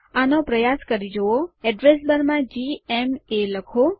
આનો પ્રયાસ કરી જુઓ એડ્રેસ બાર માં જીએમએ લખો